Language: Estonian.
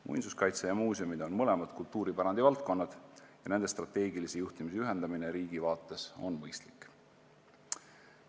Muinsuskaitse ja muuseumid on mõlemad kultuuripärandi valdkonnad ja nende strateegilise juhtimise ühendamine riigi vaates on mõistlik.